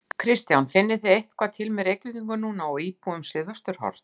Kristján: Finnið þið eitthvað til með Reykvíkingum núna og íbúum Suðvesturhorns?